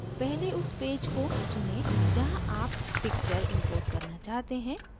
पहले उस पेज को चुनें जहाँ आप picture import करना चाहते हैं